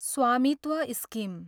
स्वामित्व स्किम